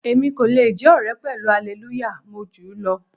Èmi kò le jẹ́ ọ̀rẹ́ pẹ̀lú Hallelujah, mo júù lọ.